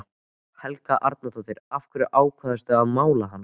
Helga Arnardóttir: Af hverju ákvaðstu að mála hana?